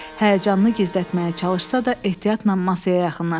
Həyəcanını gizlətməyə çalışsa da ehtiyatla masaya yaxınlaşdı.